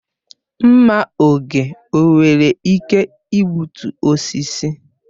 Mma oge o nwere ike igbutu osisi?